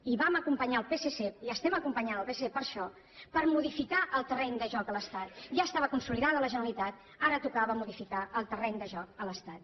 i vam acompanyar el psc i estem acompanyant el psc per a això per modificar el terreny de joc a l’estat ja estava consolidada la generalitat ara tocava modificar el terreny de joc a l’estat